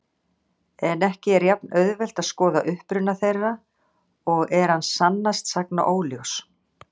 En ekki er jafn-auðvelt að skoða uppruna þeirra og er hann sannast sagna óljós.